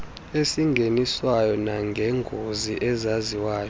esingeniswayo nangeengozi ezaziwayo